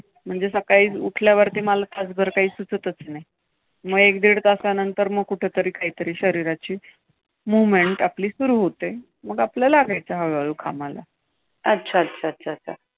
म्हणजे सकाळी उठल्यावर मला तासभर काही सुचतच नाही. मग एक दीड तासानंतर मग कुठेतरी काहीतरी शरीराची movement आपली सुरु होते. मग आपलं लागायचं हळूहळू कामाला. अच्छा, अच्छा, अच्छा, अच्छा!